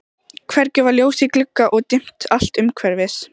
Hvergi var ljós í glugga og dimmt allt umhverfis.